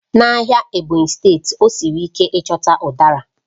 N'ahịa Ebonyi, ọ siri ike ịchọta Udara